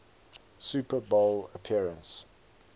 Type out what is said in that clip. super bowl appearance